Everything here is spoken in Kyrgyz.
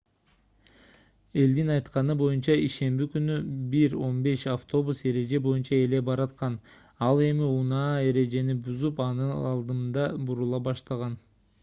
элдин айтканы боюнча ишемби күнү 01:15 автобус эреже боюнча эле бараткан ал эми унаа эрежени бузуп анын алдында бурула баштаган